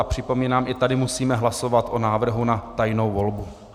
A připomínám, i tady musíme hlasovat o návrhu na tajnou volbu.